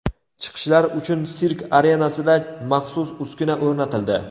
Chiqishlar uchun sirk arenasida maxsus uskuna o‘rnatildi.